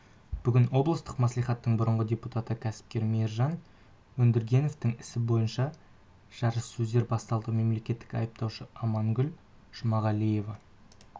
бүгін облыстық мәслихаттың бұрынғы депутаты кәсіпкер мейіржан өндіргеновтің ісі бойынша жарыссөздер басталды мемлекеттік айыптаушы амангүл жұмағалиева